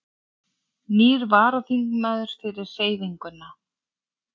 Nýr varaþingmaður fyrir Hreyfinguna